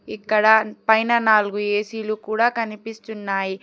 ఇక్కడ పైన నాలుగు ఏ_సీ లు కూడా కనిపిస్తున్నాయి.